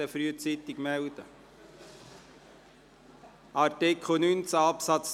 – Das scheint der Fall zu sein.